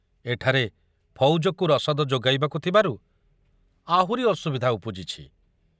ଏଠାରେ ଫୌଜକୁ ରସଦ ଯୋଗାଇବାକୁ ଥିବାରୁ ଆହୁରି ଅସୁବିଧା ଉପୁଜିଛି।